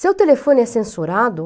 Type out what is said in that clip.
Seu telefone é censurado?